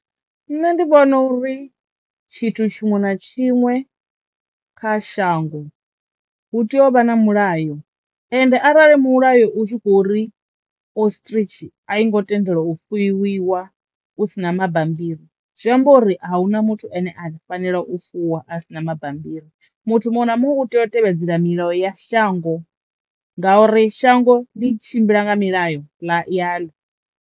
Nṋe ndi vhona uri tshithu tshiṅwe na tshiṅwe kha shango hu tea u vha na mulayo ende arali mulayo u tshi khou ri Ostrich a i ngo tendelwa u fuwiwa hu si na mabambiri zwi amba uri a hu na muthu ane a fanela u fuwa a si na mabambiri muthu muṅwe na muṅwe u tea u tevhedzela milayo ya shango ngauri shango ḽi tshimbila nga milayo ya ḽa yo.